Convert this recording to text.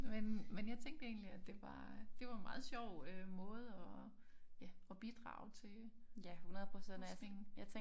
Men men jeg tænkte egentlig at det var det var meget sjov øh måde at ja at bidrage til forskningen